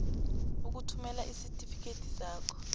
ukuthumela isitifikedi sakho